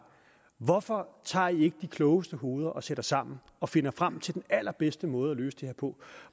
hvorfor tager i ikke de klogeste hoveder og sætter sammen og finder frem til den allerbedste måde at løse det her på